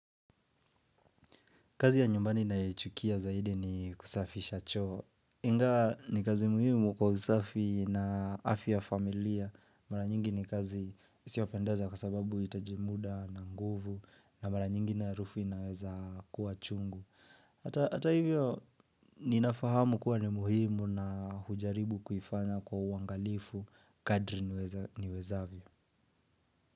Kazi ya nyumbani nayoichukia zaidi ni kusafisha choo. Ingawa ni kazi muhimu kwa usafi na afya ya familia. Mara nyingi ni kazi isiyopendeza kwa sababu inahitaji muda na nguvu na mara nyingi na arufu inayoweza kuwa chungu. Hata hivyo ninafahamu kuwa ni muhimu na hujaribu kuifanya kwa uangalifu kadri niwezavyo.